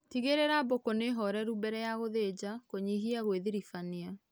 Tigirĩra mbũkũ nĩhoreru mbere ya gũthĩnja kũnyihia gwĩthirĩbania